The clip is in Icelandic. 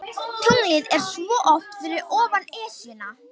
Tunglið er svo oft fyrir ofan Esjuna.